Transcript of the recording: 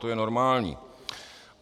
To je normální.